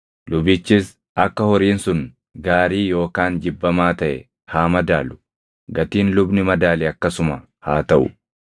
lubichis akka horiin sun gaarii yookaan jibbamaa taʼe haa madaalu. Gatiin lubni madaale akkasuma haa taʼu.